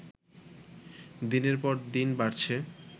দিনের পর দিন বাড়ছে